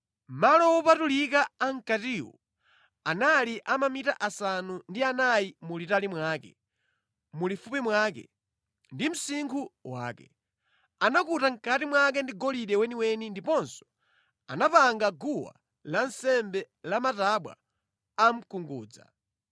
Malo wopatulika a mʼkatiwo anali a mamita asanu ndi anayi mulitali mwake, mulifupi mwake, ndi msinkhu wake. Anakuta mʼkati mwake ndi golide weniweni ndiponso anapanga guwa lansembe la matabwa a mkungudza.